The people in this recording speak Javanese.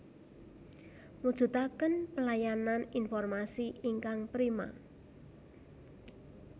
Mujudaken pelayanan informasi ingkang prima